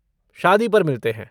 शादी पर मिलते हैं!